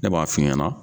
Ne b'a f'i ɲɛna